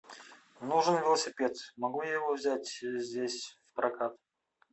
нужен велосипед могу я его взять здесь в прокат